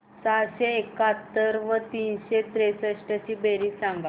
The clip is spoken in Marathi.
सहाशे एकाहत्तर व तीनशे त्रेसष्ट ची बेरीज सांगा